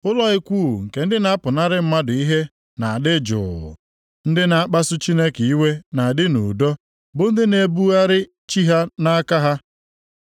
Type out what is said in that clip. Ụlọ ikwu nke ndị na-apụnara mmadụ ihe na-adị jụụ; ndị na-akpasu Chineke iwe na-adị nʼudo, bụ ndị na-ebugharị chi ha nʼaka ha.